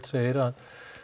segir að